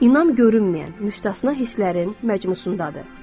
İnam görünməyən müstəsna hisslərin məcmusundadır.